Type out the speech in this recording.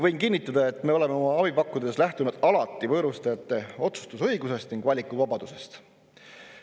Võin kinnitada, et me oleme oma abi pakkudes lähtunud alati võõrustajate otsustusõigusest ning valikuvabadusest.